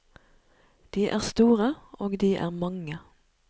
De er store, og de er mange.